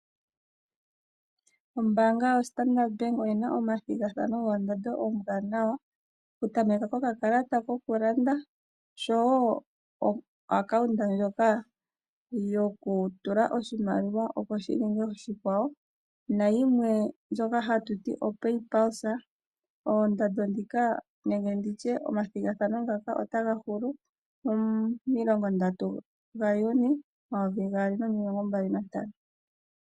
Ombaanga yoStandard Bank oyena omathigathano goondjato oombwaanawa. Oku tameka ko kakalata koku landa osho wo o akaunta ndyoka yoku tula oshimaliwa opo shi gwedhwe koshikwawo na yimwe woo ndyoka hatu ti oPayPulse. Oondando dhika nenge nditye omathigathano ngaka otaga hulu mo milongo ndatu gaJuni omayovi gaali no milongo mbali na ntano.